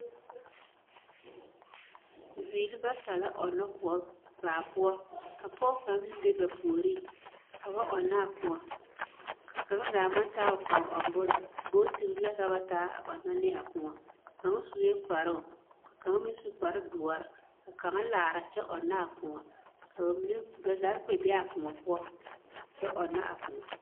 Bibiiri bata la ɔnnɔ koɔ baa poɔ ka pɔge kaŋ meŋ be ba puoriŋ ka ba ɔnnɔ a koɔ ka kaŋa zaa maŋ taa o koɔ ɔŋ bonne bogtire la ka ba taa a ɔnnɔ ne a koɔ kaŋa sue kparoŋ ka kaŋ meŋ su kparedoɔre ka kaŋa laara kyɛ ɔnnɔ a koɔ ka ba mine ka ba zaa kpɛ te be a koɔ poɔ kyɛ ɔnnɔ a koɔ.